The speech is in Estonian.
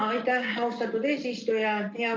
Aitäh, austatud eesistuja!